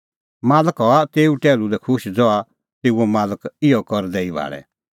मालक हआ तेऊ टैहलू लै खुश ज़हा तेऊओ मालक इहअ ई करदै भाल़े